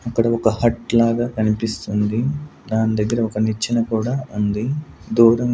ఇక్కడ ఒక హట్ లాగా కనిపిస్తుంది దాని దగ్గర ఒక నిచ్చన కూడా ఉంది దూర--